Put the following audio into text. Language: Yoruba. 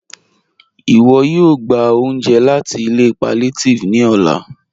Iwọ̀ yóò gbà ọ̀unje láti ilẹ̀ pàllíàtívì ní ọ̀là